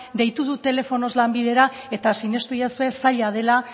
deitu dut telefonoz lanbidera eta sinistu egidazue zaila dela